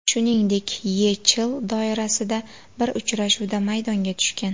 Shuningdek, YeChL doirasida bir uchrashuvda maydonga tushgan.